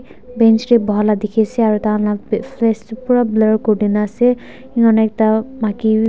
Bench tey boheya la dekhe ase aro tai khan la fa face tu pura blur kuri dinase ena kurna ekta maki beh--